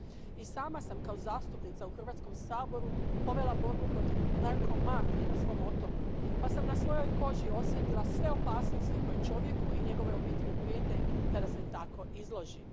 I sama sam kao zastupnica u Hrvatskom saboru povela borbu protiv narkomafije na svom otoku, pa sam na svojoj koži osjetila sve opasnosti koje čovjeku i njegovoj obitelji prijete kada se tako izloži.